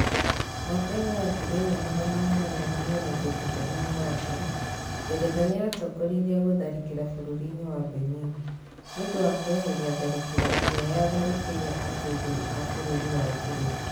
Mwaka-inĩ wa 1897, Ngeretha nĩya tongoririe gũtharĩkĩra bururi-inĩ wa Benin. Nĩ ũndũ wa kwereheria tharĩkĩro ĩrĩa yaatharĩkĩire atũgĩri a bũrũri wa Ngeretha.